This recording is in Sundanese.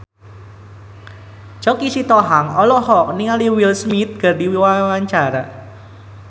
Choky Sitohang olohok ningali Will Smith keur diwawancara